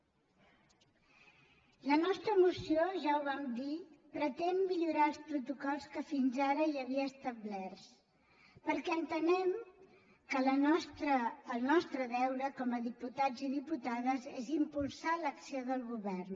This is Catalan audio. la nostra moció ja ho vam dir pretén millorar els protocols que fins ara hi havia establerts perquè entenem que el nostre deure com a diputats i diputades és impulsar l’acció del govern